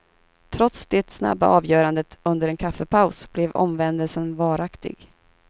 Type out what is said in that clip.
Trots det snabba avgörandet under en kaffepaus, blev omvändelsen varaktig.